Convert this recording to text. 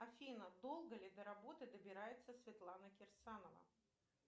афина долго ли до работы добирается светлана кирсанова